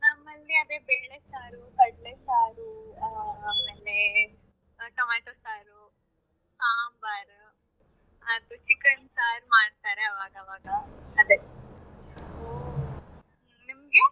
ನಮಲ್ಲಿ ಅದೇ ಬೇಳೆ ಸಾರು, ಕಡ್ಲೆ ಸಾರು ಆ ಆಮೇಲೆ ಟೊಮೇಟೊ ಸಾರು, ಸಾಂಬಾರ್ ಮತ್ತೆ chicken ಸಾರು ಮಾಡ್ತಾರೆ ಅವಾಗ್ ಅವಾಗ ಅದೇ ನಿಮ್ಗೆ?